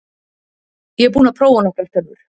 Ég er búinn að prófa nokkrar tölvur.